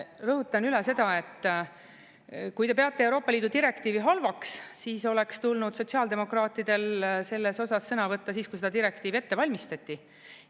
Rõhutan üle seda, et kui te peate Euroopa Liidu direktiivi halvaks, siis oleks tulnud sotsiaaldemokraatidel selles osas sõna võtta siis, kui seda direktiivi ette valmistati.